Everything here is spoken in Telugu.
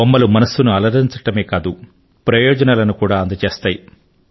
బొమ్మలు మనస్సును అలరించడమే కాదు ప్రయోజనాలను కూడా అందజేస్తాయి